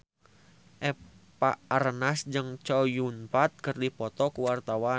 Eva Arnaz jeung Chow Yun Fat keur dipoto ku wartawan